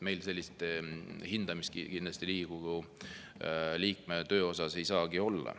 Meil sellist hindamist kindlasti Riigikogu liikme töö puhul ei saagi olla.